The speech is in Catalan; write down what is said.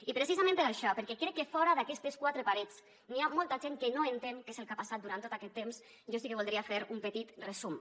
i precisament per això perquè crec que fora d’aquestes quatre parets n’hi ha molta gent que no entén què és el que ha passat durant tot aquest temps jo sí que voldria fer un petit resum